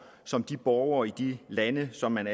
som de borgere i de lande som man